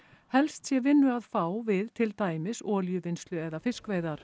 helst sé vinnu að fá við til dæmis olíuvinnslu eða fiskveiðar